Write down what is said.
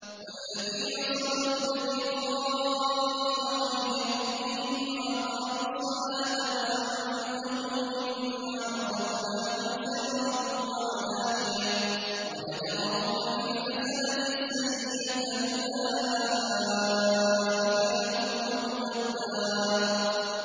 وَالَّذِينَ صَبَرُوا ابْتِغَاءَ وَجْهِ رَبِّهِمْ وَأَقَامُوا الصَّلَاةَ وَأَنفَقُوا مِمَّا رَزَقْنَاهُمْ سِرًّا وَعَلَانِيَةً وَيَدْرَءُونَ بِالْحَسَنَةِ السَّيِّئَةَ أُولَٰئِكَ لَهُمْ عُقْبَى الدَّارِ